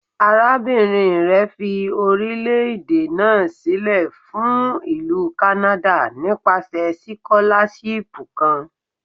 Arabinrin rẹ fi orilẹ-ede naa silẹ fun Ilu Kanada nipasẹ sikolashipu kan